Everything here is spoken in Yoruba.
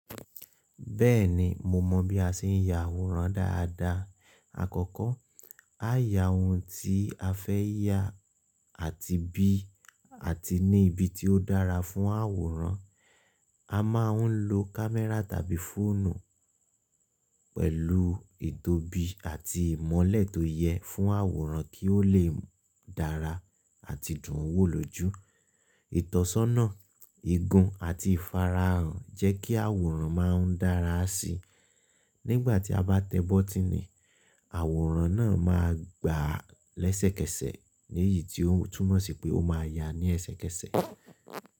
Bẹ́ẹ̀ni, mo mọ bí a ṣe ń ya àwòrán dáadáa. Àkọ́kọ́, á yà ohun tí a fẹ́ yà àti bí àti ní ibi tí ó dára fún àwòrán. A máa ń lo kámẹ́rà tàbí fóònù pẹ̀lú ìtọ́bi àti ìmọ́lẹ̀ tó yẹ fún àwòrán kí ó lè dára àti dùn wò lójú. Ìtọ́sọ́nà, igun àti ìfarahàn jẹ́ kí àwòrán máa ń dára síi. Nígbà tí a bá tẹ bọ́tìnì, àwòrán náà máa gba lẹ́sẹ̀kẹsẹ̀ nìyí tí ó túmọ̀ sí pé ó máa yá ní ẹsẹkẹsẹ̀.